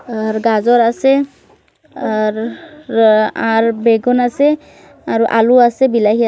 আর গাজর আছে আ-র-র-র আর বেগুন আছে আর আলু আছে বিলাই --